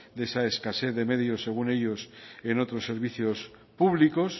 de esa escasez de medios según ellos en otros servicios públicos